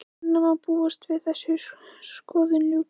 Hvenær má búast við að þessari skoðun ljúki?